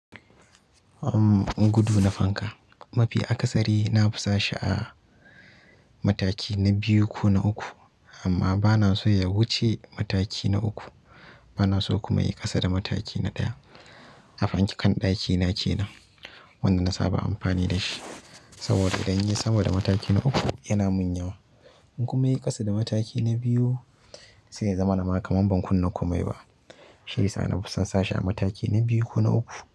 Gudu na fanka. Mafi akasari na fusashi a mataki na biyu ko na uku amma banaso ya wuce mataki na uku ba na so kuma ya ƙasa da mataki na ɗaya. A fanke kan ɗakina ke nan, wanda na saba amfani da shi. Saboda idan yayi sama da mataki na uku yana mun yawa. In kuma yayi ƙasa da mataki na biyu, sai ya zama na makar ban kunna komai ba. Shiyasa na fusansashi a mataki na biyu ko na uku.